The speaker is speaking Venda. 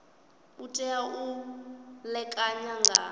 u tea u ṋekana nga